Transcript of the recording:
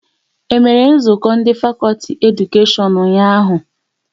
E mere nzukọ ndị fakọlti Edukashion ụnyaahụ?